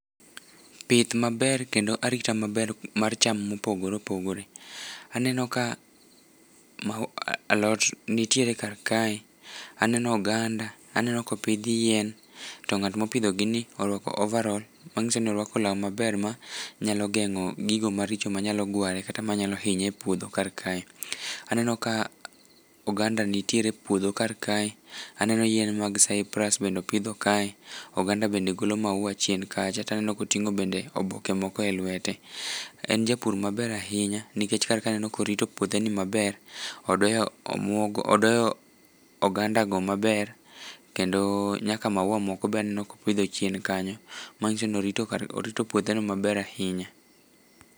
pith maber kendo arita maber mar cham mopogore opogore, aneno ka alot nitiere kar kae ,aneno oganda aneno kopidh yien to ngat mopidho gi ni oruako overal, manyiso ni oruako nanga maber, manyalo gengo gigo maricho manyalo gware kata manyalo hinye e puodho kar kae ,aneno koganda nitiere puodho kar kae ,aneno yien mag saiprus bende opidho kae oganda bende golo mafua chien kacha taneno kotingo bende oboke moko e lwete ,en japur maber ahinya nikech kar ka aneo korito puodhe ni maber ,odoyo oganda gi maber kendo nyaka maua moko be aneno kopidho chien kanyo manyiso ni orito puothe no maber ahinya